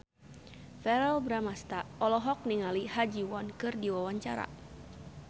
Verrell Bramastra olohok ningali Ha Ji Won keur diwawancara